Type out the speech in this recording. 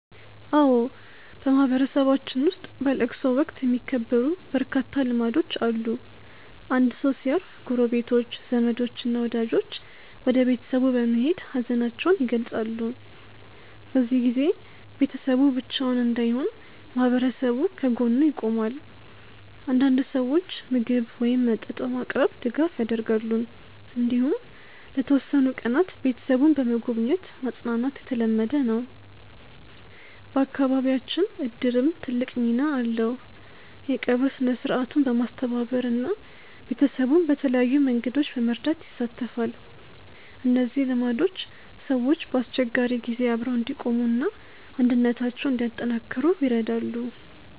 አዎ፣ በማህበረሰባችን ውስጥ በለቅሶ ወቅት የሚከበሩ በርካታ ልማዶች አሉ። አንድ ሰው ሲያርፍ ጎረቤቶች፣ ዘመዶች እና ወዳጆች ወደ ቤተሰቡ በመሄድ ሀዘናቸውን ይገልጻሉ። በዚህ ጊዜ ቤተሰቡ ብቻውን እንዳይሆን ማህበረሰቡ ከጎኑ ይቆማል። አንዳንድ ሰዎች ምግብ ወይም መጠጥ በማቅረብ ድጋፍ ያደርጋሉ። እንዲሁም ለተወሰኑ ቀናት ቤተሰቡን በመጎብኘት ማጽናናት የተለመደ ነው። በአካባቢያችን እድርም ትልቅ ሚና አለው፤ የቀብር ሥነ-ሥርዓቱን በማስተባበር እና ቤተሰቡን በተለያዩ መንገዶች በመርዳት ይሳተፋል። እነዚህ ልማዶች ሰዎች በአስቸጋሪ ጊዜ አብረው እንዲቆሙ እና አንድነታቸውን እንዲያጠናክሩ ይረዳሉ።